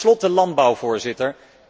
Tot slot de landbouw, Voorzitter.